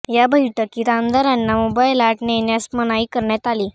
या बैठकीत आमदारांना मोबाईल आत नेण्यास मनाई करण्यात आली